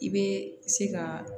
I bɛ se ka